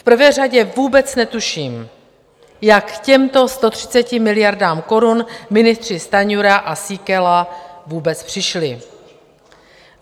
V prvé řadě vůbec netuším, jak k těmto 130 miliardám korun ministři Stanjura a Síkela vůbec přišli.